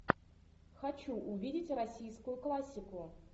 хочу увидеть российскую классику